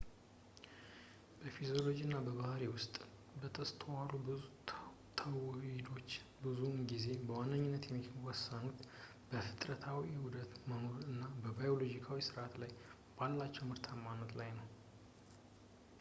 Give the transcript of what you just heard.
በፊዚዮሎጂ እና በባህሪ ውስጥ የተስተዋሉ ብዙ ተውሂዶች ብዙውን ጊዜ በዋነኝነት የሚወሰኑት በፍጥረታዊ ዑደቶች መኖር እና ባዮሎጂያዊ ሰዓቶች ላይ ባላቸው ምርታማነት ላይ ነው